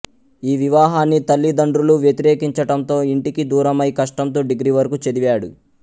ఈ వివాహాన్ని తల్లిదండ్రులు వ్యతిరేకించటంతో ఇంటికి దూరమై కష్టంతో డిగ్రీ వరకు చదివాడు